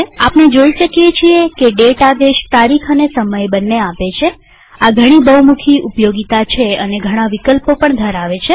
આપણે જોઈ શકીએ છીએ કે દાતે આદેશ તારીખ અને સમય બંને આપે છેઆ ઘણી બહુમુખી ઉપયોગીતા છે અને ઘણા વિકલ્પો પણ ધરાવે છે